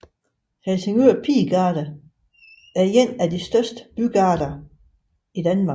Helsingør Pigegarde er en af de største bygarder i Danmark